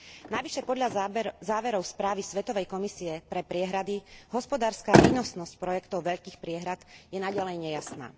Navyše podľa záverov správy Svetovej komisie pre priehrady hospodárska výnosnosť projektov veľkých priehrad je naďalej nejasná.